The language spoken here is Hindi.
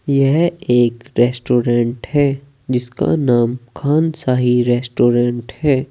यह एक रेस्टोरेंट है जिसका नाम खान शाही रेस्टोरेंट है।